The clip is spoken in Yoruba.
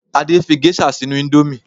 Adé fí gẹ́ṣà sínú ìndòmí